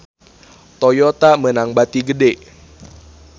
Toyota meunang bati gede